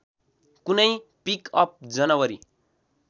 कुनै पिकअप जनवरी